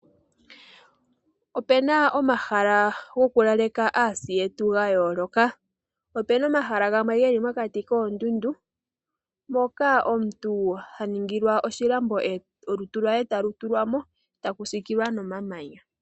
Ope na omahala gokulaleka aasi yetu ga yooloka. Ope na omahala gamwe geli mokati koondundu moka omuntu ha ningilwa oshilambo olutu lwee talu tulwa mo eta ku sikililwa nomamanya.